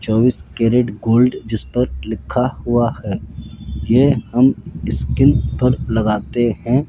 चौबीस carat gold जिसपर लिखा हुआ है ये हम स्किन पर लगाते है।